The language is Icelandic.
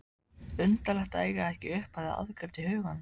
Undarlegt að eiga ekki upphafið aðgreint í huganum.